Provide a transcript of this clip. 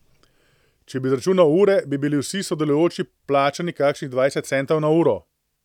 Če bi izračunal ure, bi bili vsi sodelujoči plačani kakšnih dvajset centov na uro.